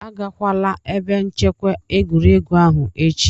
Agakwala ebe nchekwa egwuregwu ahụ echi!